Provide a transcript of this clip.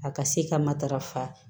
A ka se ka matarafa